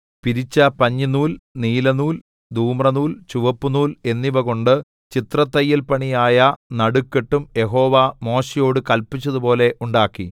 പിരിച്ച പഞ്ഞിനൂൽ നീലനൂൽ ധൂമ്രനൂൽ ചുവപ്പുനൂൽ എന്നിവകൊണ്ട് ചിത്രത്തയ്യൽപണിയായ നടുക്കെട്ടും യഹോവ മോശെയോട് കല്പിച്ചതുപോലെ ഉണ്ടാക്കി